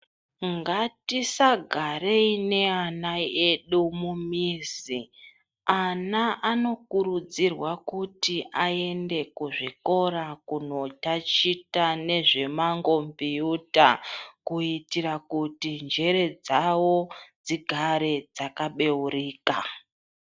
Ngatisagarei neana edu mumizi ana anokurudzirwa kuti aende kuzvikora kunotachita nezve mangombiyuta. Kuitira kuti njere dzavo dzigare dzakabeurika.